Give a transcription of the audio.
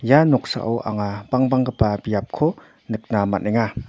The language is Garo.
ia noksao anga bangbanggipa biapko nikna man·enga.